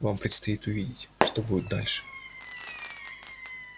вам предстоит увидеть что будет дальше